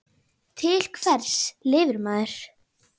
Til hvers lifir maður?